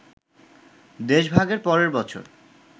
দেশভাগের পরের বছর